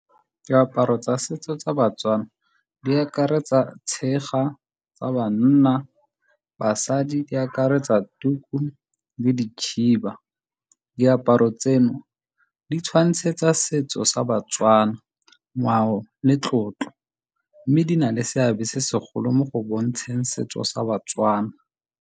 Diaparo tsa setso tsa baTswana di akaretsa tshega tsa banna, basadi di akaretsa tuku le dikhiba. Diaparo tseno di tshwantshetsa setso sa baTswana ngwao le tlotlo, mme di na le seabe se segolo mo go bontsheng setso sa baTswana.